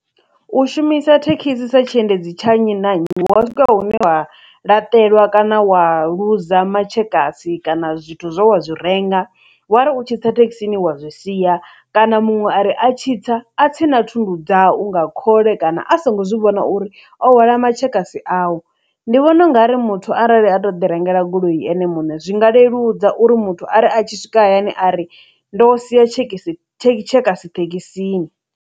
U shumisa thekhisi sa tshiendedzi tsha nnyi na nnyi hu a swika hune wa laṱelwa, kana wa luza matshekasi, kana zwithu zwo wa zwi renga wa ri u tshi tsa thekhisini wa zwi sia, kana muṅwe ari a tshi tsa a tse na thundu dzau nga khole kana a songo zwivhona uri o hwala matshekasi a u. Ndi vhona u nga ri muthu arali a tou ḓi rengela goloi ene muṋe zwinga leludza uri muthu ari a tshi swika hayani ari ndo sia tshekisi, tshekasi thekhisini.